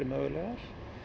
mögulegar